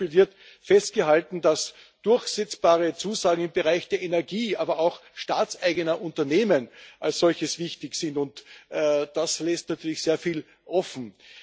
Zum Beispiel wird festgehalten, dass durchsetzbare Zusagen im Bereich der Energie aber auch staatseigener Unternehmen als solches wichtig sind, und das lässt natürlich sehr viel offen.